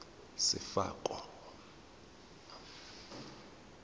sefako